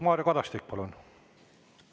Mario Kadastik, palun!